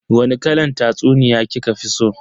Wani kalan tatsuniya kika fi so?